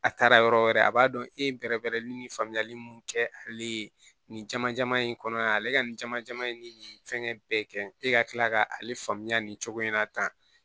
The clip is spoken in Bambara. A taara yɔrɔ wɛrɛ a b'a dɔn e ye bɛrɛ bɛrɛ ni faamuyali mun kɛ ale ye nin caman in kɔnɔ yan ale ka nin caman ye ni nin fɛngɛ bɛɛ kɛ e ka kila k'ale faamuya nin cogo in na tan